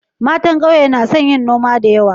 Matan kauye na son yin noma da yawa.